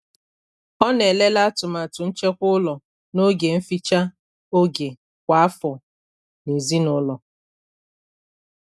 Ọ na- elele atụmatụ nchekwa ụlọ n' oge nficha oge kwa afọ na ezinụlọ.